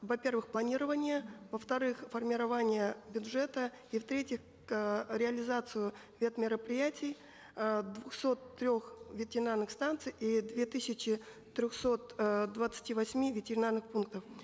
во первых планирование во вторых формирование бюджета и в третьих э реализацию вет мероприятий э двухсот трех ветеринарных станций и двух тысяч трехсот э двадцати восьми ветеринарных пунктов